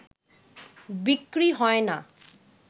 বিক্রি হয় না